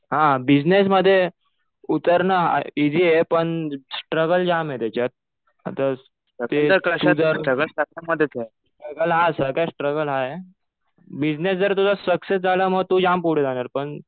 हा बिजनेसमध्ये उतरणं इजी आहे पण स्ट्रगल जाम आहे त्याच्यात. आता जर. स्ट्रगल हा आहे. बिजनेस जर तुझा सक्सेस झाला मग तू जाम पुढे जाणार पण